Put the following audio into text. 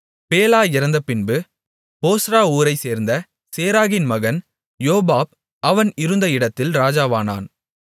Bela இறந்தபின்பு போஸ்றா ஊரைச்சேர்ந்த சேராகின் மகன் யோபாப் அவன் இருந்த இடத்தில் இராஜாவானான்